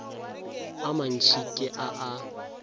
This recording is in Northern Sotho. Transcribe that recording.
a mantši ke a a